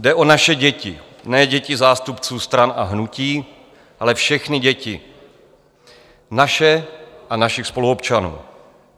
Jde o naše děti, ne děti zástupců stran a hnutí, ale všechny děti, naše a našich spoluobčanů.